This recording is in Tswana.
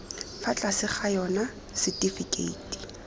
fa tlase ga yona setifikeiti